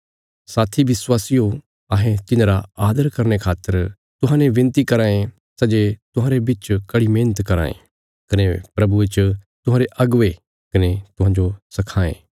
साथी विश्वासियो अहें तिन्हांरा आदर करने खातर तुहांजो विनती कराँ ये सै जे तुहांरे बिच कड़ी मेहणत कराँ ये कने प्रभुये च तुहांरे अगुवे कने तुहांजो सखांये